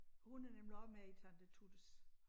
Hun er nemlig også med i Tante Tuttes